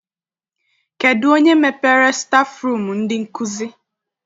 Kedụ onye mepere stafụrum ndị nkụzi?